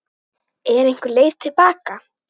Er einhver leið til baka?